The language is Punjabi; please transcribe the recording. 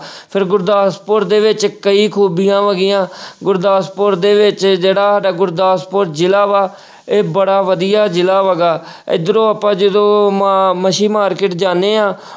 ਫਿਰ ਗੁਰਦਾਸਪੁਰ ਦੇ ਵਿੱਚ ਕਈ ਖੂਬੀਆਂ ਹੈਗੀਆਂ ਗੁਰਦਾਸਪੁਰ ਦੇ ਵਿੱਚ ਜਿਹੜਾ ਸਾਡਾ ਗੁਰਦਾਸਪੁਰ ਜ਼ਿਲ੍ਹਾ ਵਾ ਇਹ ਬੜਾ ਵਧੀਆ ਜ਼ਿਲ੍ਹਾ ਹੈਗਾ ਇੱਧਰੋਂ ਆਪਾਂ ਜਦੋਂ ਮਾ~ ਮੱਛੀ market ਜਾਂਦੇ ਹਾਂ,